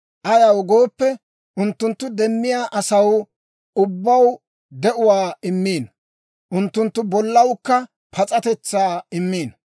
Ayaw gooppe, unttuntta demiyaa asaw ubbaw de'uwaa immiino; unttunttu bollawukka pas'atetsaa immiino.